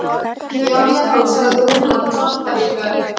Já, já sagði hún án sannfæringar.